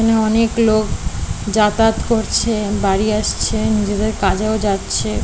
এখানে অনেক লোক যাতায়াত করছে বাড়ি আসছে নিজেদের কাজেও যাচ্ছে।